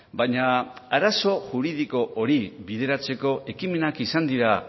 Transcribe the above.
baina arazo juridiko hori bideratzeko ekimenak izan dira